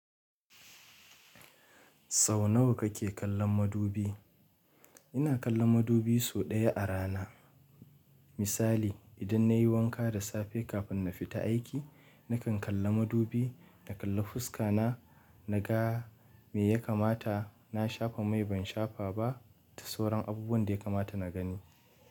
Sau nawa kake kallon madubi? Ina kallon madubi sau ɗaya a rana. Misali idan nayi wanka da safe kafin na fita aiki, nakan kalla madubi, na kalla fuska na, na ga me ya kamata. Na shafa mai ban shafa ba da sauran abubuwan da ya kamata na gani.